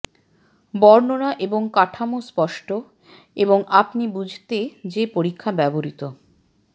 বর্ণনা এবং কাঠামো স্পষ্ট এবং আপনি বুঝতে যে পরীক্ষা ব্যবহৃত